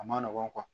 A ma nɔgɔn